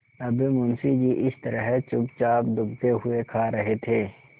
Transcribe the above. अब मुंशी जी इस तरह चुपचाप दुबके हुए खा रहे थे